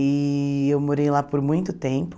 E eu morei lá por muito tempo.